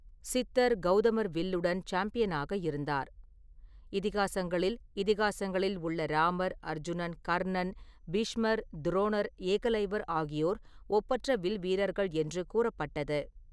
சித்தர் கௌதமர் வில்லுடன் சாம்பியனாக இருந்தார். இதிகாசங்களில் இதிகாசங்களில் உள்ள ராமர், அர்ஜுனன், கர்ணன், பீஷ்மர், துரோணர், ஏகலைவர் ஆகியோர் ஒப்பற்ற வில்வீரர்கள் என்று கூறப்பட்டது.